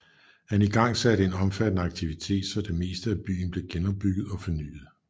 Han igangsatte en omfattende aktivitet så det meste af byen blev genopbygget og fornyet